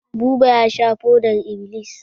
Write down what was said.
Buba ya sha fodar-iblis.